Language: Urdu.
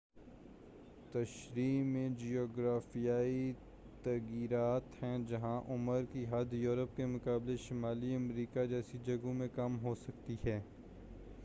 تشریح میں جغرافیائی تغیرات ہیں جہاں عمر کی حد یورپ کے مقابلے شمالی امریکہ جیسی جگہوں میں کم ہوسکتی ہے